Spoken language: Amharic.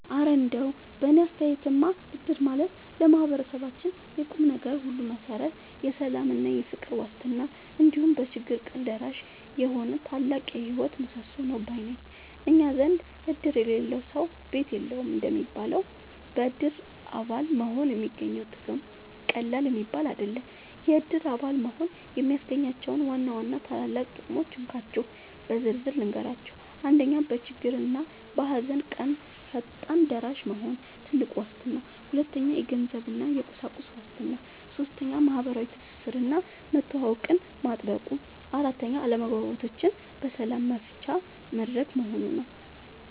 እረ እንደው በእኔ አስተያየትማ እድር ማለት ለማህበረሰባችን የቁምነገር ሁሉ መሠረት፣ የሰላምና የፍቅር ዋስትና፣ እንዲሁም በችግር ቀን ደራሽ የሆነ ታላቅ የህይወት ምሰሶ ነው ባይ ነኝ! እኛ ዘንድ "እድር የሌለው ሰው ቤት የለውም" እንደሚባለው፣ በእድር አባል መሆን የሚገኘው ጥቅም ቀላል የሚባል አይደለም። የእድር አባል መሆን የሚያስገኛቸውን ዋና ዋና ታላላቅ ጥቅሞች እንካችሁ በዝርዝር ልንገራችሁ፦ 1. በችግርና በሃዘን ቀን ፈጣን ደራሽ መሆኑ (ትልቁ ዋስትና) 2. የገንዘብና የቁሳቁስ ዋስትና 3. ማህበራዊ ትስስርና መተዋወቅን ማጥበቁ 4. አለመግባባቶችን በሰላም መፍቻ መድረክ መሆኑ